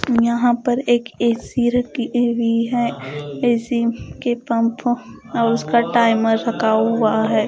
यहां पर एक ए_सी रखी हुई है ए_सी के पंपों और उसका टाइमर रख हुआ है।